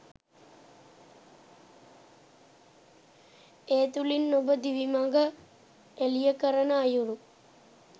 ඒ තුළින් ඔබ දිවි මඟ එළිය කරන අයුරු